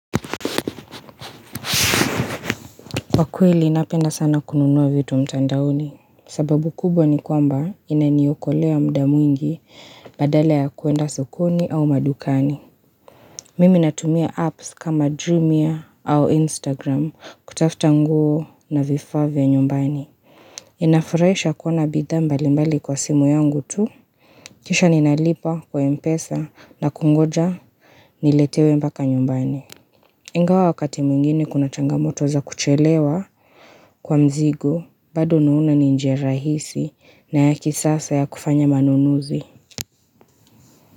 Kwa kweli ninapenda sana kununua vitu mtandaoni. Sababu kubwa ni kwamba inaniokolea muda mwingi badala ya kwenda sokoni au madukani. Mimi natumia apps kama Dreamia au Instagram kutafuta nguo na vifaa vya nyumbani. Inafurahisha kuona bidha mbalimbali kwa simu yangu tu. Kisha ninalipa kwa mpesa na kungoja niletewe mpaka nyumbani. Ingawa wakati mwingine kuna changamoto za kuchelewa kwa mzigo bado naona ni njia rahisi na ya kisasa ya kufanya manunuzi.